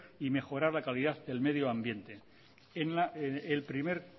y mejorar la calidad del medio ambiente en el primer